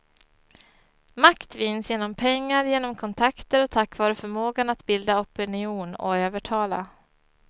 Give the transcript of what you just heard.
Makt vinns genom pengar, genom kontakter och tack vare förmågan att bilda opinion och övertala.